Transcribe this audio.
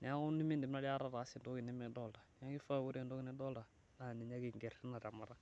,neeku nindim aikata ataasa entoki nikidolita .Neeku kifa na ore entoki nidolita naa ninye ake inger tina temata.